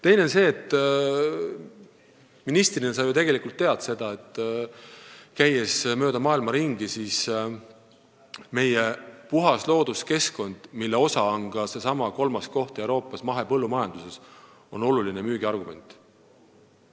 Teiseks, sa ju ministrina tegelikult tead seda, et mööda maailma ringi käies on meie puhas looduskeskkond, mille osa on ka seesama kolmas koht Euroopas mahepõllumajanduses, oluline müügiargument.